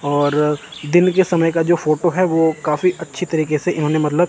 और दिन के समय का जो फोटो है वो काफी अच्छी तरीके से इन्होंने मतलब--